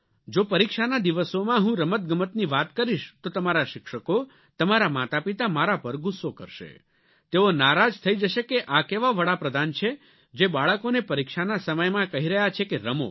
જો પરીક્ષાના દિવસોમાં હું રમતગમતની વાત કરીશ તો તમારા શિક્ષકો તમારાં માતાપિતા મારા પર ગુસ્સો કરશે તેઓ નારાજ થઇ જશે કે આ કેવા વડાપ્રધાન છે જે બાળકોને પરીક્ષાના સમયમાં કહી રહ્યા છે કે રમો